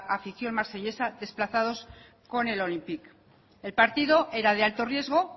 afición marsellesa desplazados con el olympique el partido era de alto riesgo